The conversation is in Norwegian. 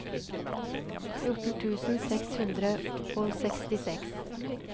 fjorten tusen seks hundre og sekstiseks